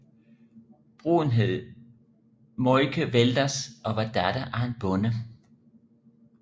Bruden hed Maayke Velders og var datter af en bonde